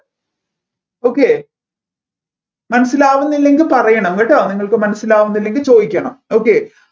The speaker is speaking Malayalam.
okay മനസ്സിലാവുന്നില്ലെങ്കിൽ പറയണം കേട്ടോ നിങ്ങൾക്ക് മനസ്സിലാവുന്നില്ലെങ്കിൽ ചോദിക്കണം